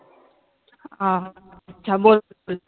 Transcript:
हम्म हा बोल.